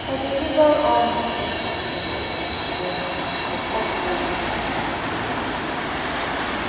i dey label all my seed container with charcoal mark for top old biscuit tin cover